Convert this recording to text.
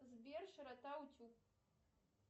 сбер широта утюг